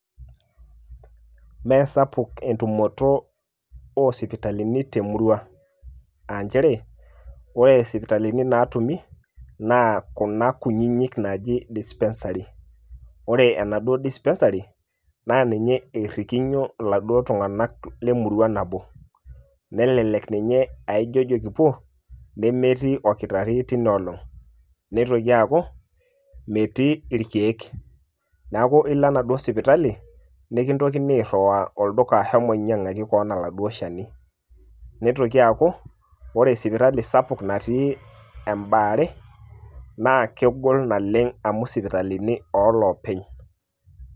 Meesapuk entumoto o sipitalini temurua. Ah njere, ore sipitalini natumi, naa kuna kunyinyik naaji dispensary. Ore enaduo dispensary ,na ninye errikinyo iladuo tung'anak lemurua nabo. Nelelek ninye ah ijojo kipuo, nemetii orkitarri teina olong'. Neitoki aaku, metii irkeek. Neeku ilo enaduo sipitali, nikintokini airriwaa olduka shomo nyang'aki keon aladuo shani. Nitoki aaku, ore sipitali sapuk natii ebaare, na kegol naleng' amu sipitalini oloopeny.